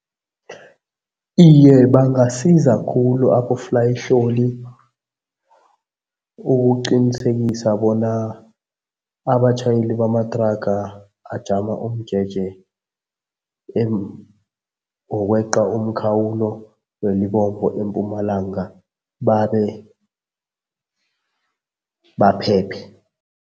Iye, bangasiza khulu aboflayihloli ukuqinisekisa bona abatjhayeli bamathraga ajama umjeje wokweqa umkhawulo eMpumalanga babe baphephe.